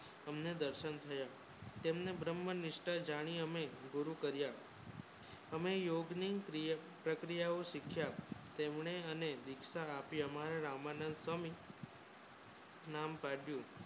હમને દર્શન થયા તમને બ્રહ્મ નિષ્ટા જાણી એને ગુરુ કર્યા અમે યોગ ની પ્રક્રિયા શિક્ષા તમને હમે દીક્ષા આપી હમારા રામનન્દ સ્વામી નામ પાડ્યું